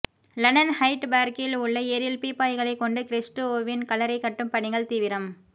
London Hyde பார்கில் உள்ள ஏரியில் பீப்பாய்களை கொண்டு கிறிஸ்டோவின் கல்லறை கட்டும் பணிகள் தீவிரம்